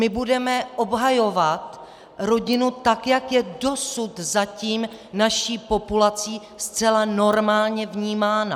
My budeme obhajovat rodinu, tak jak je dosud zatím naší populací zcela normálně vnímána.